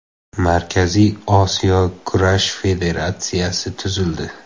Markaziy Osiyo kurash federatsiyasi tuzildi.